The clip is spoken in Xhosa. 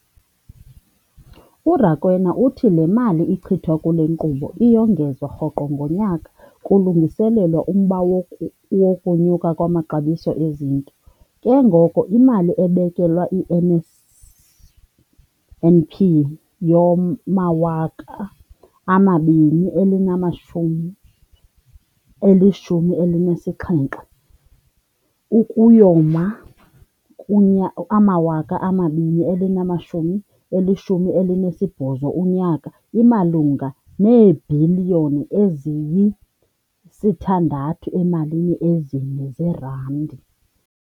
URakwena uthi le mali ichithwa kule nkqubo iyongezwa rhoqo ngonyaka kulungiselelwa umba wokunyuka kwamaxabiso ezinto, ke ngoko imali ebekelwe i-NSNP yowama-2017 ukuyoma ku-2018 imalunga neebhiliyoni eziyi-6.4 zeerandi.